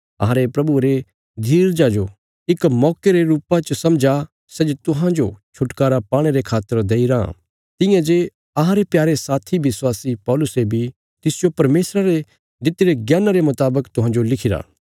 अहांरे प्रभुये रे धीरजा जो इक मौके रे रुपा च समझा सै जे तुहांजो छुटकारा पाणे रे खातर देईराँ तियां जे अहांरे प्यारे साथी विश्वासी पौलुसे बी तिसजो परमेशरा रे दित्तिरे ज्ञाना रे मुतावक तुहांजो लिखिरा